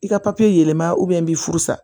I ka papiye yɛlɛma i b'i furu sa